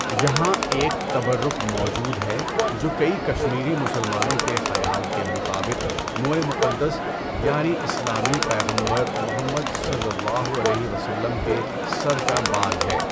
یہاں ایک تبرک موجود ہے جو کئی کشمیری مسلمانوں کے خیال کے مطابق موئے مقدس یعنی اسلامی پیغمبر محمد صلی اللہ علیہ وسلم کے سر کا بال ہے۔